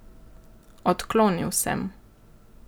Odklonil sem.